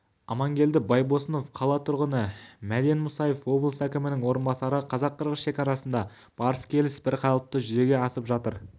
амангелді байбосынов қала тұрғыны мәден мұсаев облыс әкімінің орынбасары қазақ-қырғыз шекарасында барыс-келіс бірқалыпты жүзеге асып жатыр